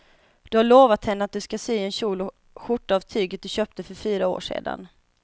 Du har lovat henne att du ska sy en kjol och skjorta av tyget du köpte för fyra år sedan.